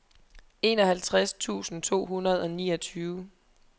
enoghalvtreds tusind to hundrede og niogtyve